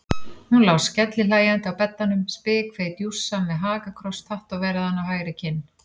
Hún lá skellihlæjandi á beddanum, spikfeit jússa með hakakross tattóveraðan á hægri kinn.